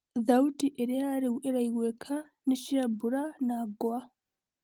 Thauti iria riũ iraiguĩka nĩ cia mbura na ngwa.